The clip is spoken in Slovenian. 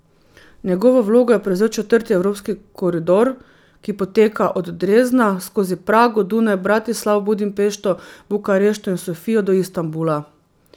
Njegovo vlogo je prevzel četrti evropski koridor, ki poteka od Dresdna skozi Prago, Dunaj, Bratislavo, Budimpešto, Bukarešto in Sofijo do Istanbula.